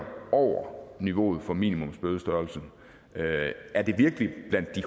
over niveauet for minimumsbødestørrelsen er det virkelig blandt de